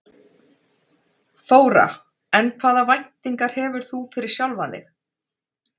Þóra: En hvaða væntingar hefur þú fyrir sjálfan þig?